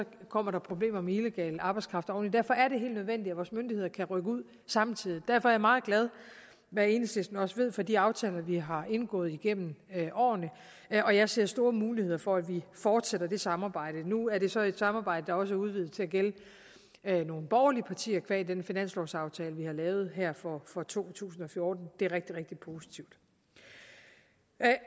kommer der problemer med illegal arbejdskraft oveni derfor er det helt nødvendigt at vores myndigheder kan rykke ud samtidig derfor er jeg meget glad hvad enhedslisten også ved for de aftaler vi har indgået igennem årene og jeg ser store muligheder for at vi fortsætter det samarbejde nu er det så et samarbejde der også er udvidet til at gælde nogle borgerlige partier qua den finanslovsaftale vi har lavet her for for to tusind og fjorten det er rigtig rigtig positivt